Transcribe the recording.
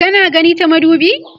kana gani ta madubi?